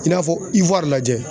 I n'a fɔ lajɛ.